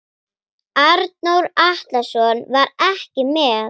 Arnór Atlason var ekki með.